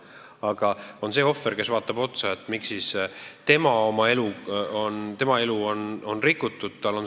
Aga on ohver, kes vaatab sulle otsa ja küsib, miks tema elu on rikutud.